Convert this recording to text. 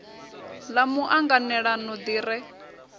ḽa mu anganelano ḓi re